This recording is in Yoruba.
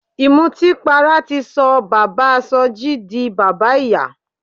Ìmọtínpara ti sọ bàbáa Sọjí di bàbá ìyà.